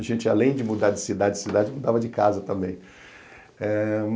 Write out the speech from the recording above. A gente, além de mudar de cidade, cidade, mudava de casa também. Eh